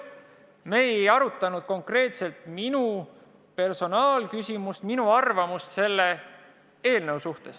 Me ei arutanud konkreetselt minu personaalküsimust, minu arvamust selle eelnõu kohta.